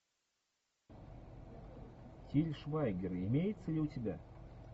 тиль швайгер имеется ли у тебя